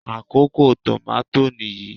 Àkókò tòmátò nìyí.